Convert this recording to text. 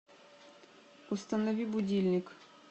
установи будильник